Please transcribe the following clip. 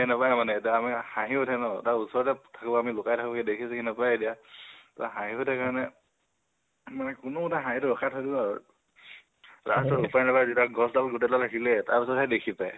সি বিচাৰি নাপায় মানে, হাহিঁ উঠে ন, তাৰ ওচৰতে থাকো আমি লুকাই থাকো দেখি চেখি নাপায় এতিয়া, হাহঁ উঠে কাৰণে কোনেও নাহাহেঁ, ৰখাই থাকো আৰু। তাৰপিছত উপাই নাপাই যেতিয়া গছডাল গোটেইডাল হিলে, তিতিয়াহে দেখি পায়।